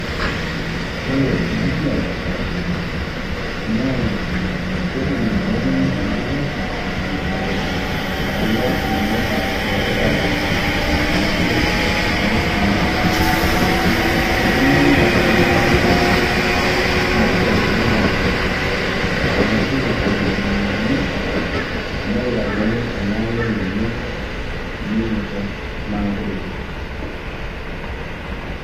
Ore enasiai na nedungdungokini enkiteng kulo maloka lorpaek ashu ekesakini temashini, indimayi nekesakini temashini nishori minosa, arashu edungdungokini nepikakini eleale lenye minosa makutitik .